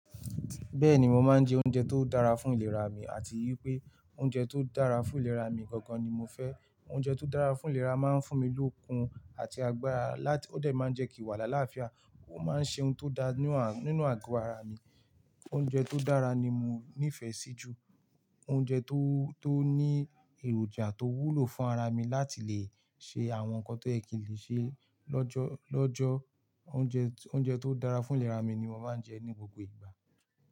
Bẹ́ẹ̀ni, mo máa ń jẹ oúnjẹ tó dára fún ìlera mi àti wípé oúnjẹ tó dára fún ìlera mi gangan ni mo fẹ́. Oúnjẹ tó dára fún ìlera máa ń fún mi lókun àti agbára láti ó dà máa ń jẹ kí wàhálà láàfíà ó máa ń ṣe ohun tó da nínú àgọ́ ara mi. Oúnjẹ tó dára ni mo nífẹ̀ẹ́ sí jù. Oúnjẹ tó, tó ní èròjà tó wúlò fún ara mi láti lè ṣe àwọn nǹkan tó yẹ kí n lè ṣe lọ́jọ́, lọjọ́. Oúnjẹ tó dára fún ìlera mi ni mo máa ń jẹ ní gbogbo ìgbà.